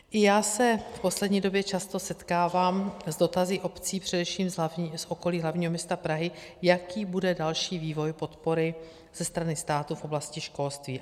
I já se v poslední době často setkávám s dotazy obcí především z okolí hlavního města Prahy, jaký bude další vývoj podpory ze strany státu v oblasti školství.